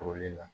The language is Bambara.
Turuli la